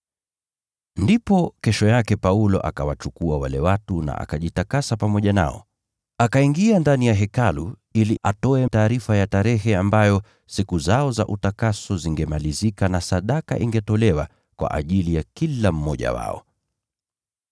Ndipo kesho yake Paulo akawachukua wale watu na akajitakasa pamoja nao. Akaingia ndani ya hekalu ili atoe taarifa ya tarehe ambayo siku zao za utakaso zingemalizika na sadaka ingetolewa kwa ajili ya kila mmoja wao.